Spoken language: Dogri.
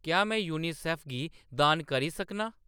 क्या में यूनिसेफ गी दान करी सकनां ?